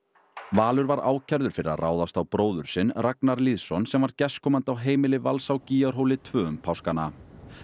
Valur var ákærður fyrir að ráðast á bróður sinn Ragnar Lýðsson sem var gestkomandi á heimili Vals á tveggja um páskana